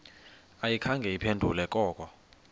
ayikhange iphendule koko